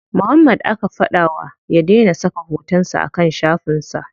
Muhammad aka fada ma ya dai na saka hoton sa a kan shafin sa.